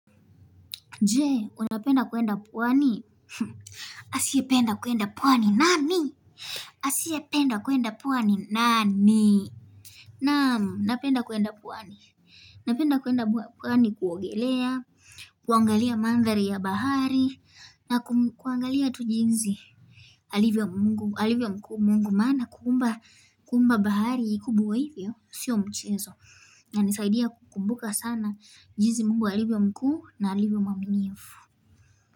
Je, unapenda kuenda pwani? Asiyependa kuenda pwani nani? Asie penda kuenda puwani nani? Na'am, napenda kuenda pwani. Napenda kuenda pwani kuogelea, kuangalia mandhari ya bahari, na kuangalia tu jinsi alivyo alivyo mkuu Mungu maana kuumba, kuumba bahari kubwa hivyo, sio mchezo. Inanisaidia kukumbuka sana jinsi Mungu alivyo mkuu na alivyomwaminifu.